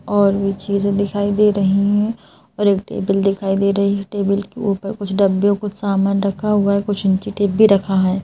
और भी चीज़ें दिखाई दे रही हैं और एक टेबल दिखाई दे रही है टेबल के ऊपर कुछ डब्बे और कुछ सामान रखा हुआ है कुछ इंचीटेप भी रखा है।